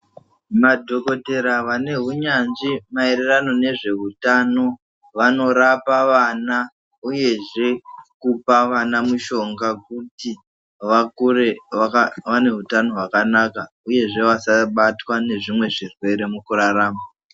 Madhokotera vane hunyanzvi maererano nezveutano vanorapa vana uyezve kupa vana mushonga kuti vakure vane hutano hwakanaka uyezve vasabatwa ngezvimwe zvirwere mukurarama.